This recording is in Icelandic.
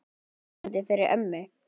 Það er lýsandi fyrir ömmu.